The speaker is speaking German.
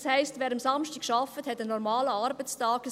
Das heisst, wer samstags arbeitet, hat einen normalen Arbeitstag.